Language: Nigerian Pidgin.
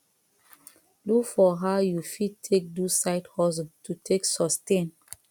look for how you fit take do side hustle to take sustain